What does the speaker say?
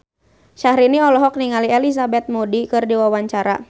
Syahrini olohok ningali Elizabeth Moody keur diwawancara